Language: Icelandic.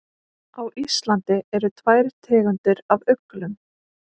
Á Íslandi eru tvær tegundir af uglum.